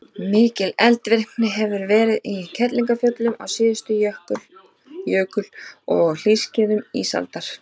mikil eldvirkni hefur verið í kerlingarfjöllum á síðustu jökul og hlýskeiðum ísaldar